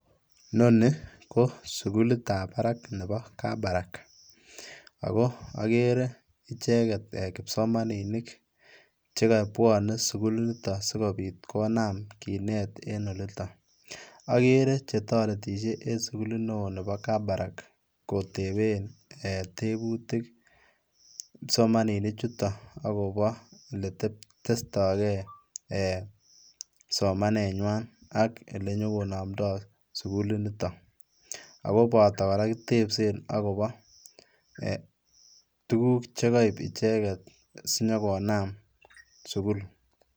Noni ko sugulutab barak nebo Kabarak ,ako okere icheget kipsomaninik chekobwonen sugulinuton sikobit kinam kinet en oliton, okere chetoretisie en sugulit neo nebo Kabarak koteben tebutik kipsomaninichuton akobo eletestogee somanenywan ak ole nyokonomdoo suguliniton, akoboto koraa kitebsen akobo tuguk chekoib icheget sinyogonam sugul.